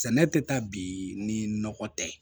Sɛnɛ tɛ taa bi ni nɔgɔ tɛ ye